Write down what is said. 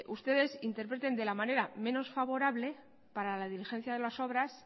ustedes interpreten de la manera menos favorable para la diligencia de las obras